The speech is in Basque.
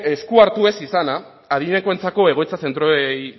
esku hartu ez izana adinekoentzako egoitza zentroei